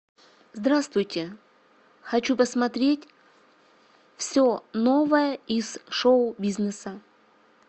здравствуйте хочу посмотреть все новое из шоу бизнеса